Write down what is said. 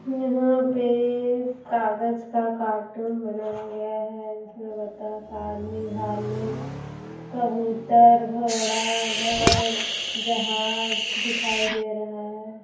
यहाँ पे कागज का कार्टून बनाया गया है इसमें बतख आदमी भालू कबूतर घोड़ा घर जहाज दिखाई दे रहा है।